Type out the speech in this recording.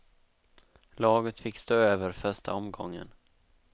Laget fick stå över första omgången.